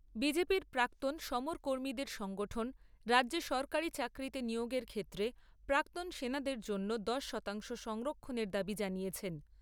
BJP র প্রাক্তন সমরকর্মীদের সংগঠন রাজ্যে সরকারী চাকরিতে নিয়োগের ক্ষেত্রে প্রাক্তন সেনাদের জন্য দশ শতাংশ সংরক্ষণের দাবি জানিয়েছেন।